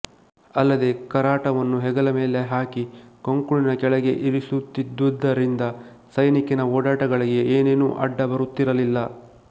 ಅಲ್ಲದೆ ಕರಾಟವನ್ನು ಹೆಗಲಮೇಲೆ ಹಾಕಿ ಕಂಕುಳಿನ ಕೆಳಗೆ ಇರಿಸುತ್ತಿದ್ದುದರಿಂದ ಸೈನಿಕನ ಓಡಾಟಗಳಿಗೆ ಏನೇನೂ ಅಡ್ಡ ಬರುತ್ತಿರಲಿಲ್ಲ